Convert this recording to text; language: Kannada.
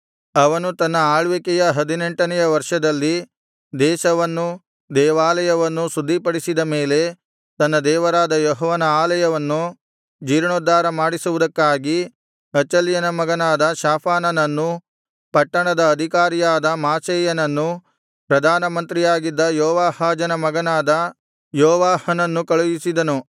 ಅವನು ತನ್ನ ಆಳ್ವಿಕೆಯ ಹದಿನೆಂಟನೆಯ ವರ್ಷದಲ್ಲಿ ದೇಶವನ್ನೂ ದೇವಾಲಯವನ್ನೂ ಶುದ್ಧಿಪಡಿಸಿದ ಮೇಲೆ ತನ್ನ ದೇವರಾದ ಯೆಹೋವನ ಆಲಯವನ್ನು ಜೀರ್ಣೋದ್ಧಾರ ಮಾಡಿಸುವುದಕ್ಕಾಗಿ ಅಚಲ್ಯನ ಮಗನಾದ ಶಾಫಾನನನ್ನೂ ಪಟ್ಟಣದ ಅಧಿಕಾರಿಯಾದ ಮಾಸೇಯನನ್ನೂ ಪ್ರಧಾನಮಂತ್ರಿಯಾಗಿದ್ದ ಯೋವಾಹಾಜನ ಮಗನಾದ ಯೋವಾಹನನ್ನೂ ಕಳುಹಿಸಿದನು